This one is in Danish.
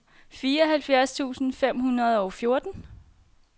fireoghalvfjerds tusind fem hundrede og fjorten